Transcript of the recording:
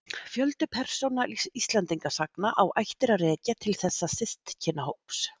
Fjöldi persóna Íslendingasagna á ættir að rekja til þessa systkinahóps.